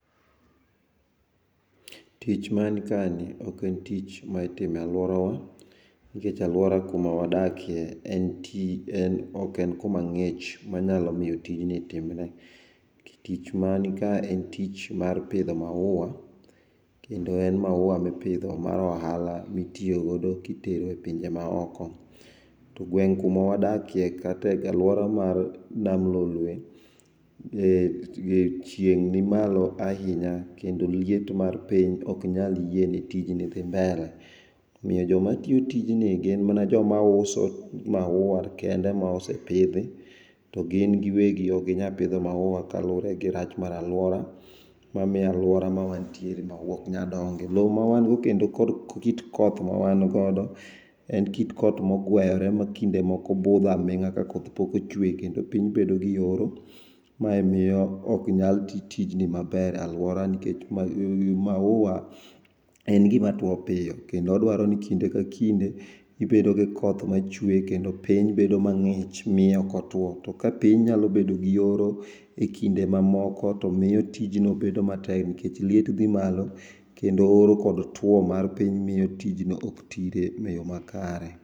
Tich man kae ni oken tich maitimo e aluorawa nikech aluora kuma wadake en ti, oken kuma ngich manyalo miyo tich mani kae timre, tich man kae en tich pidho maua kendo en maua mipidho mar ohala mitiyo godo e tero e pinje maoko. To gweng kuma wadake kata e aluora mar nam lolwe to chieng ni malo ahinya kendo liet mar piny ok nyal yie ne tijni dhi mbele. Omiyo joma tiyo tijni gin mana joma uso maua kende mosepidhi to gin giwegi ok ginyal pidho maua kaluore gi rach mar aluora mamiyo aluora mawantiere maua ok nyal donge. Loo mawan godo kendo kod kit koth mawan godo en kit koth ma ogweyore ma kinde moko budho aminga ka koth pok ochwe kendo piny bedo gi oro mae miyo ok nyal tii tijni maber a luora nikech maua en gima tuo piyo kendo odwaro ni kinde ka kinde ibedo gi koth machwe kendo piny bedo mangich miyo ok otuo to ka piny nyalo bedo gi oro e kind mamoko to miyo tijno bedo matek nikech liet dhi malo kendo oro kod tuo mar piny miyo tijno ok tire e yoo makare